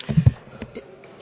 Herr Präsident!